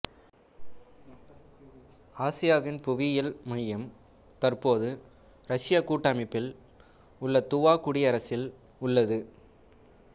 ஆசியாவின் புவியியல் மையம் தற்போது ரஷ்யக் கூட்டமைப்பில் உள்ள துவா குடியரசில் உள்ளது